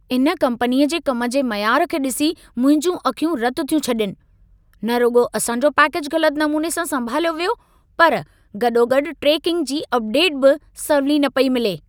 इन कम्पनीअ जे कम जे मयार खे ॾिसी, मुंहिंजूं अखियूं रत थियूं छॾीनि। न रुॻो असां जो पैकेजु ग़लत नमूने सां संभालियो वियो, पर गॾोगॾु ट्रेकिंग जी अपडेटु बि सवली न पई मिले।